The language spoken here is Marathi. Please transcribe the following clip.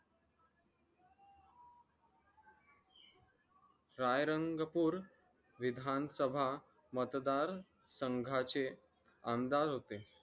रायरंगपूर विधानसभा मतदान संघाचे आमदार होते